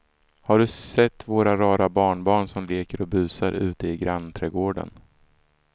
Har du sett våra rara barnbarn som leker och busar ute i grannträdgården!